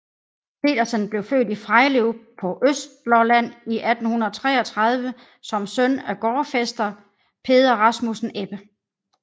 Pedersen blev født i Frejlev på Østlolland i 1833 som søn af gårdfæster Peder Rasmussen Ebbe